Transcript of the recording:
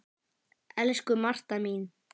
Elsku Marta mín.